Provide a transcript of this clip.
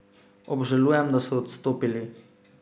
Obžalujem, da so odstopili.